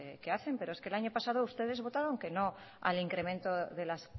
qué hacen pero es que el año pasado ustedes votaron que no al incremento de la